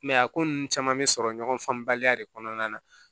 a ko ninnu caman bɛ sɔrɔ ɲɔgɔn faamubaliya de kɔnɔna na